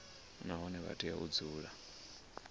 nahone vha tea u dzula